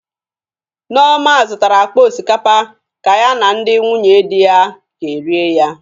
Nneoma zụtara akpa osikapa ka ya na ndị nwunye di ya ekerịe ya